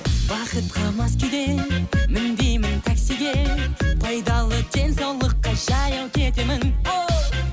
бақытқа мас күйде мінбеймін таксиге пайдалы денсаулыққа жаяу кетемін оу